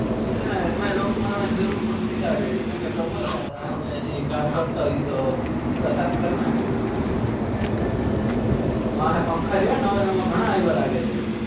એમાય looc મારવાન જરૂર પડતી લગ